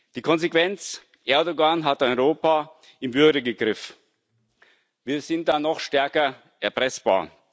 Die Konsequenz Erdoğan hat Europa im Würgegriff, wir sind noch stärker erpressbar.